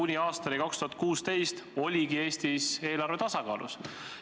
–, kuni aastani 2016 oligi Eesti eelarve tasakaalus.